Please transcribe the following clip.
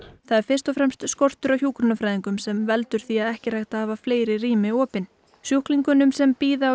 það er fyrst og fremst skortur á hjúkrunarfræðingum sem veldur því að ekki er hægt að hafa fleiri rými opin sjúklingunum sem bíða á